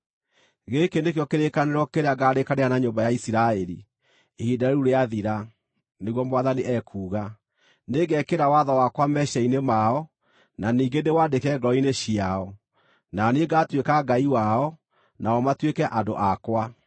Gĩkĩ nĩkĩo kĩrĩkanĩro kĩrĩa ngaarĩkanĩra na nyũmba ya Isiraeli ihinda rĩu rĩathira, nĩguo Mwathani ekuuga. Nĩngekĩra watho wakwa meciiria-inĩ mao, na ningĩ ndĩwaandĩke ngoro-inĩ ciao. Na niĩ ngaatuĩka Ngai wao, nao matuĩke andũ akwa.